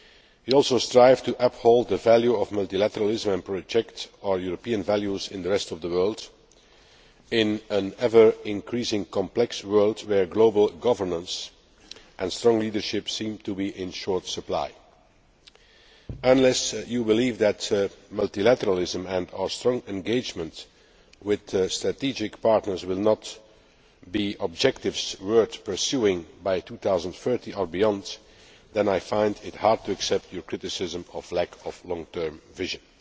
We also strive to uphold the value of multilateralism and project our European values in the rest of the world, in an ever increasing complex world where global governance and strong leadership seem to be in short supply. Unless you believe that multilateralism and our strong engagement with strategic partners will not be objectives worth pursuing by 2030 or beyond, then I find it hard to accept the report's criticism of lack of long term vision.